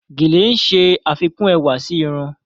Gèlè ń ṣe àfikún ẹwà sí irun.